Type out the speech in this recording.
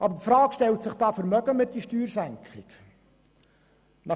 Aber die Frage stellt sich, ob wir die Steuersenkung vermögen.